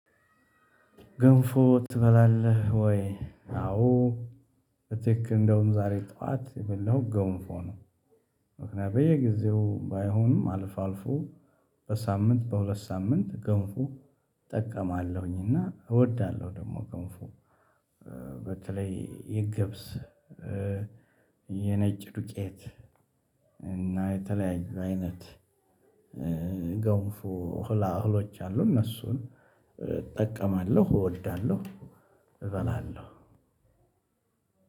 ገንፎ ትበላለህ ወይ? አዎ እቴክ እንደውም ዛሬ ጠዋት የበላሁት ገንፎ ነው። ምክንያቱም በየጊዜው ባይሆንም አልፎ አልፎ በሳምንት በሁለት ሳምንት ገንፎ እጠቀማለሁኝ። እና እወዳለሁ ደግሞ ገንፎ። በተለይ የገብስ የነጭ ዱቄት እና የተለያዩ አይነት ገንፎ ህላህሎች አሉ። እነሱን እጠቀማለሁ እወዳለሁ። እበላለሁ